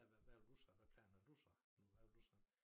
At hvad vil du så hvad plan har du så nu hvad vil du så